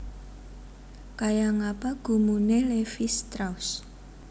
Kaya ngapa gumune Levis Strauss